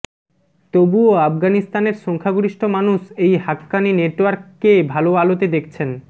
তবুও আফগানিস্তানের সংখ্যাগরিষ্ঠ মানুষ এই হাক্কানি নেটওয়ার্ক কে ভালো আলোতে দেখছেন